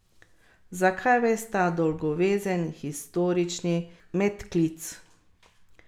Zakaj ves ta dolgovezen historični medklic?